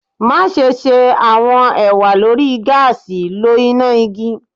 Maṣe ṣe awọn ewa lori gaasi lo ina igi